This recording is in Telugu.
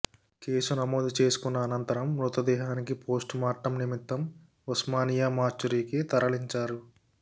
కేసు నమోదు చేసుకున్న అనంతరం మృతదేహానికి పోస్ట్ మార్టం నిమిత్తం ఉస్మానియా మార్చురీకి తరలించారు